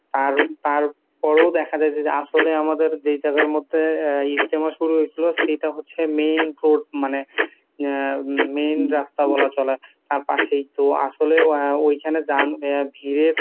আর তারপরও দেখা যায় যে আসলে আমাদের যে জায়গার মধ্যে ইজতেমা শুরু হয়েছিল সেইটা হচ্ছে main road মানে আহঃ main রাস্তা বলা চলে, তার পাশেই তো